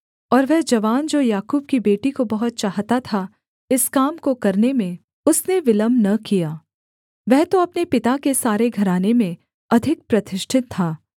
और वह जवान जो याकूब की बेटी को बहुत चाहता था इस काम को करने में उसने विलम्ब न किया वह तो अपने पिता के सारे घराने में अधिक प्रतिष्ठित था